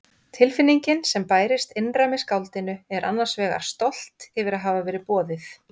Tilfinningin sem bærist innra með skáldinu er annars vegar stolt yfir að hafa verið boðið.